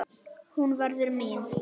Hún verður mín.